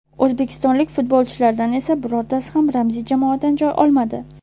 O‘zbekistonlik futbolchilardan esa birortasi ham ramziy jamoadan joy olmadi.